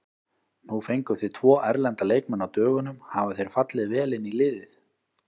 Nú fenguð þið tvo erlenda leikmenn á dögunum, hafa þeir fallið vel inn í liðið?